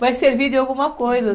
Vai servir de alguma coisa.